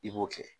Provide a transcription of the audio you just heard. I b'o kɛ